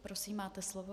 Prosím, máte slovo.